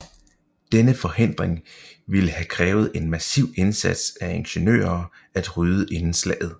Denne forhindring ville have krævet en massiv indsats af ingeniører at rydde inden slaget